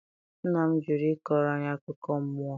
nna m jụrụ ịkọrọ anyị akụkọ mmụọ.